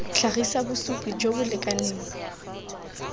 tlhagisa bosupi jo bo lekaneng